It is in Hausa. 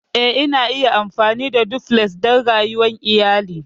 Eh, ana iya amfani da Duplex don rayuwar iyali.